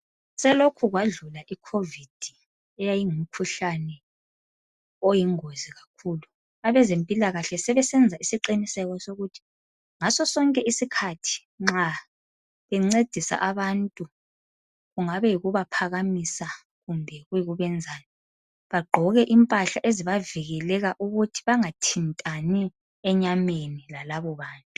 Selokhe kwadlula icovid eyayi ngumkhuhlane oyingozi kakhulu abezempilakahle sebesenza isiqiniseko sokuthi ngaso sonke isikhathi nxa bencedisa abantu kungabe kuyikubaphakamisa kumbe kuyibenzani bagqoke impahla ezibavikeleka ukuthi bengathintani enyameni lalabo bantu.